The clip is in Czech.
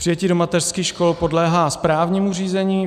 Přijetí do mateřských škol podléhá správnímu řízení.